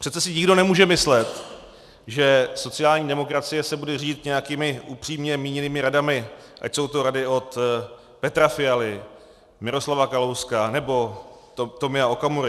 Přece si nikdo nemůže myslet, že sociální demokracie se bude řídit nějakými upřímně míněnými radami, ať jsou to rady od Petra Fialy, Miroslava Kalouska nebo Tomia Okamury.